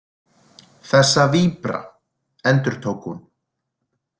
Þessa víbra, endurtók hún.